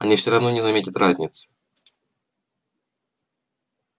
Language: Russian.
они всё равно не заметят разницы